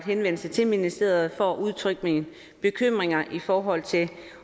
henvendelse til ministeriet for at udtrykke mine bekymringer i forhold til